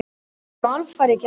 Við erum alfarið gegn þessu.